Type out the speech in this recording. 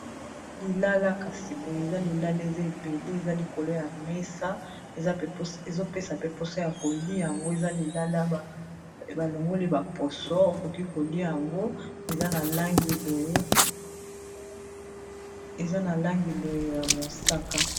Lilala kasi boye eza lilala eza ebele eza likolo ya mesa, ezopesa pe poso ya kolia yango eza lilala balongoli baposo okoki kolia yango eza na langiboye ya mosaka